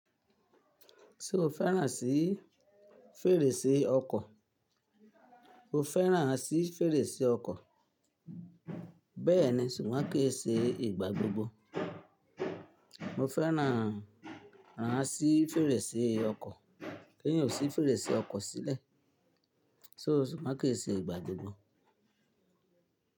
Ṣé o fẹ́ràn sí fèrèsé ọkọ̀? O fẹ́ràn sí fèrèsé ọkọ̀, bẹ́ẹ̀ni, ṣùgbọ́n ki n ṣe ìgbà gbogbo. Mo fẹ́ràn ràn sí fèrèsé ọkọ̀, kí n yò sí fèrèsé ọkọ̀ sílẹ̀, ṣùgbọ́n kò ṣe ìgbà gbogbo.